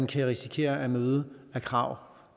kan risikere at møde af krav